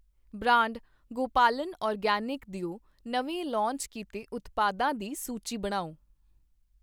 Brand Gopalan organic ਦਿਓ ਨਵੇਂ launch ਕੀਤੇ ਉਤਪਾਦਾਂ ਦੀ ਸੂਚੀ ਬਣਾਓ?